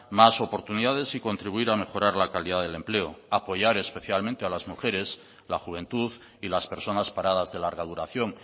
más oportunidades y contribuir a mejorar la calidad del empleo apoyar especialmente a las mujeres la juventud y las personas paradas de larga duración